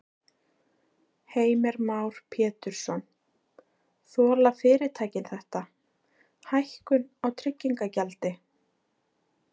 Heimir Már Pétursson: Þola fyrirtækin þetta, hækkun á tryggingagjaldi?